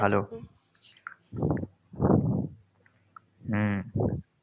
ভালো। হম